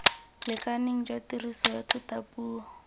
lekaneng jwa tiriso ya thutapuo